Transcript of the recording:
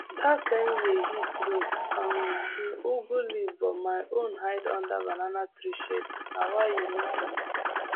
that same year heat roast um him ugu leaves but my own hide under banana tree shade why e no suffer